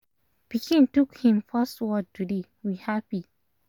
pikin took hin first word today we happy